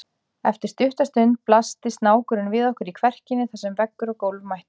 Eftir stutta stund blasti snákurinn við okkur í kverkinni þar sem veggur og gólf mættust.